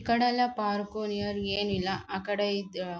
ಈ ಕಡೆ ಎಲ್ಲ ಪಾರ್ಕ್ ನಿಯರ್ ಏನಿಲ್ಲ ಆಕಡೆ ಇದ್ದಿರಬೇಕು.